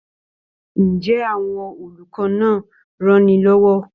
Ǹjẹ́ àwọn olùkọ́ náà ranni lọ́wọ́?